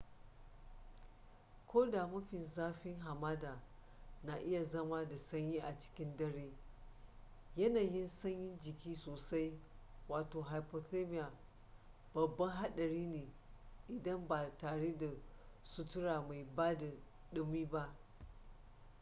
ko da mafi zafin hamada na iya zama da sanyi a cikin dare yanayin sanyin jiki sosai wato hypothermia babban haɗari ne idan ba tare da sutura mai bada ɗumi ba